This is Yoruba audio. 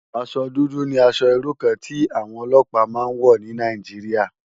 Aṣò dùdù ni ãṣò irú kàn ti áwòn òlòpá má n wò ni Nàijiriá